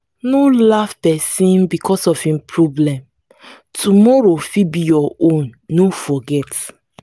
no laugh pesin becos of em problem tomorrow fit be your own no forget.